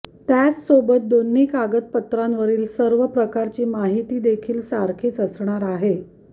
त्याचसोबत दोन्ही कागदपत्रांवरील सर्व प्रकारची माहिती देखील सारखीच असणार आहे